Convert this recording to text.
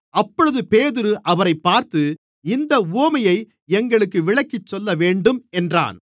அப்பொழுது பேதுரு அவரைப் பார்த்து இந்த உவமையை எங்களுக்கு விளக்கிச்சொல்லவேண்டும் என்றான்